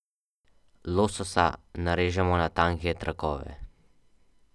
Lososa narežemo na tanke trakove.